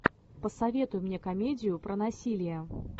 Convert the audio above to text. посоветуй мне комедию про насилие